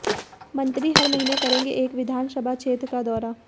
मंत्री हर महीने करेंगे एक विधानसभा क्षेत्र का दौरा